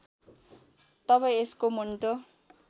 तब यसको मुन्टो